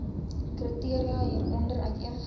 kriteria hieronder uiteengesit